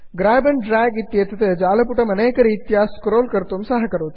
grab and drag इत्येतत् जालपुटम् अनेकरीत्या स्क्रोल् कर्तुं सहकरोति